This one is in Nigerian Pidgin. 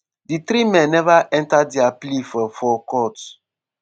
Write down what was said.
di three men neva enter dia plea for for court.